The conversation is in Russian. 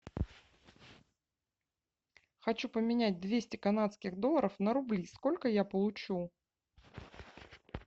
хочу поменять двести канадских долларов на рубли сколько я получу